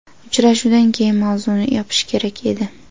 Uchrashuvdan keyin mavzuni yopish kerak edi.